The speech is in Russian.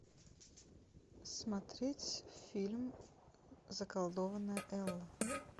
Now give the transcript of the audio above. смотреть фильм заколдованная элла